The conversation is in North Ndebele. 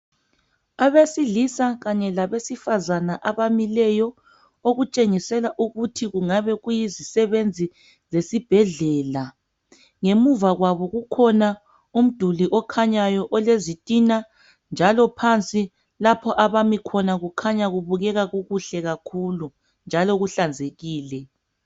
Abesilisa kanye labesifazana abamileyo okutshengisela ukuthi kungabe kuyizisebenzi zesibhedlela. Ngemuva kwabo kukhona umduli okhanyayo olezitina njalo phansi lapho abami khona kukhanya kubukeka kukuhle kakhulu njalo kuhlanzekile.